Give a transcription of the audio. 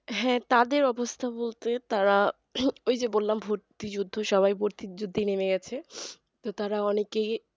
হ্যাঁ তাদের অবস্থা বলতে তারা ওই যে বললাম ভর্তি যুদ্ধ সবাই ভর্তির যুদ্ধেই নেমে গেছে তো তারা অনেকই